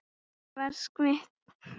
Ég var svikinn